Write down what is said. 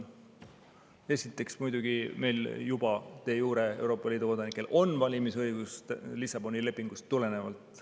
Esiteks, muidugi meil juba de jure on Euroopa Liidu kodanikel valimisõigus Lissaboni lepingust tulenevalt.